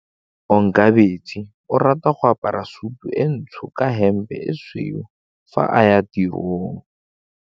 Onkabetse o rata go apara sutu e ntsho ka hempe e tshweu fa a ya tirong.